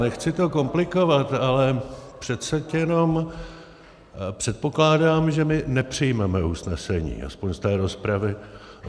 Nechci to komplikovat, ale přece jenom předpokládám, že my nepřijmeme usnesení, aspoň z té rozpravy.